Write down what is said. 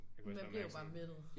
Man bliver jo bare mættet